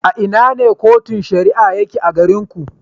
A ina ne Cotun Shari'a yake a garin ku.